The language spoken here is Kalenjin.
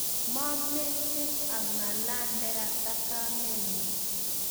Momec h ang'alan ne kata kamenyu